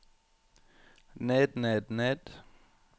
ned ned ned